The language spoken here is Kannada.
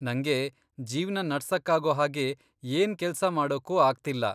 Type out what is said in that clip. ನಂಗೆ ಜೀವ್ನ ನಡ್ಸೋಕಾಗೋ ಹಾಗೆ ಏನ್ ಕೆಲ್ಸ ಮಾಡೋಕೂ ಆಗ್ತಿಲ್ಲ.